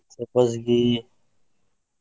ಸಬ್ಬಸ್ಗೀ.